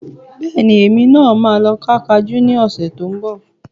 Bẹ́ẹ̀ni, èmi náà máa lọ ká Kajú ní oṣù tó ń bọ̀